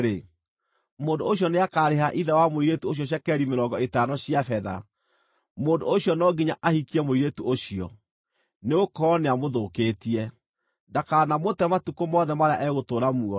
mũndũ ũcio nĩakarĩha ithe wa mũirĩtu ũcio cekeri mĩrongo ĩtano cia betha. Mũndũ ũcio no nginya ahikie mũirĩtu ũcio, nĩgũkorwo nĩamũthũkĩtie. Ndakanamũte matukũ mothe marĩa egũtũũra muoyo.